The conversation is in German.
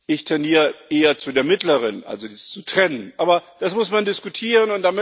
Ich tendiere eher zu der mittleren also dies zu trennen aber das muss man diskutieren.